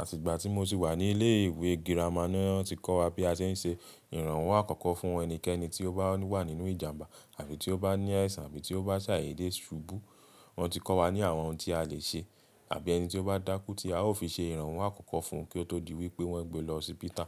Àti ìgbà tí mo ti wà ní ilé ìwé girama ni wọn ti kọ́ wa bí a ṣe ń ṣe ìrànwọ́ àkọ́kọ́ fún ẹnikẹ́ni tí ó bá wà nínú ìjàmbá àbí tí ó bá ní aisan àbí tí ó bá ṣàdeèdé ṣubú. Wọn ti kọ́ wa ní àwọn ohun tí a lè ṣe àbí ẹni tí ó bá dákú tí a ó fi ṣe ìrànwọ́ àkọ́kọ́ fún kí ó tó di wípé wọ́n gbé lọ sí pítà.